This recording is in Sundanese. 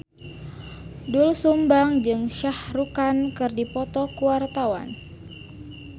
Doel Sumbang jeung Shah Rukh Khan keur dipoto ku wartawan